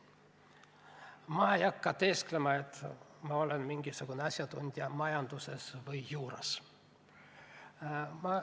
Ma ei hakka teesklema, et ma olen mingisugune asjatundja majanduses või juuras.